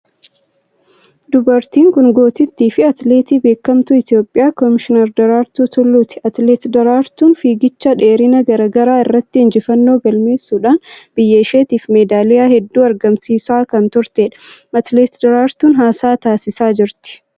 Dubartiin kun gootittii fi atileetii beekamtuu Itiyoophiyaa Komishinar Daraartuu Tulluuti. Atileet Daraartuun fiigicha dheerina garaa garaa irratti injifannoo galmeessuudhaan biyya isheetiif medaaliyaa hedduu argamsiisaa kan turteedha. Atileet Daraartuun haasaa taasisaa jirti.